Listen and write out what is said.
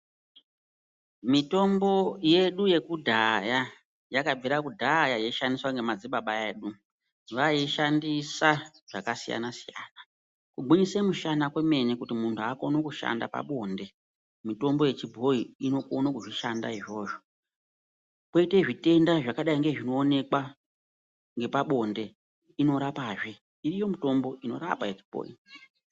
Mitombo yedu yekudhaya yakabvire kudhaya yeishandiswa ngemadzibaba edu. Vaishandisa zvakasiyana-siyana. Kugwinyise mishana kwemene kuti muntu akone kushanda pabonde, mitombo yechibhoyi inokone kuzvishanda izvozvo. Koite zvitenda zvakadai ngezvinoonekwa ngepabonde, iriyo mitombo inorapa yechibhoyi.